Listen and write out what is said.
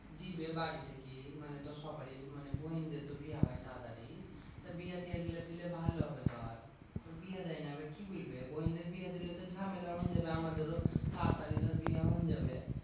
দিবে বাড়ি থেকে মানে। তো সবারই মানে বইনদের তো বিয়ে হয় তাড়াতাড়ি। তা বিহা টিহা গুলা দিলে ভালো হবে ধর। বিহা দেয় না এবার কি বলবে? বইনদের বিয়া দিলে তো ঝামেলা আমাদেরও তাড়াতাড়ি ধর বিয়া হইন যাবে।